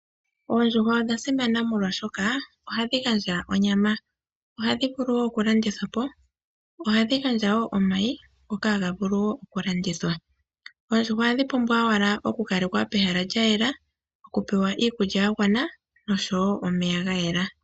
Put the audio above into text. Oondjuhwa odha simana molwaashoka ohadhi gandja onyama. Ohadhi vulu okulandithwa po. Ohadhi gandja wo omayi ngoka haga vulu okulandithwa. Oondjuhwa ohadhi pumbwa owala oku kalekwa pehala lyayela, okupewa iikulya yagwana noshowo omeya gayela.